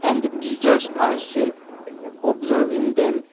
and the teachers are seen observing them.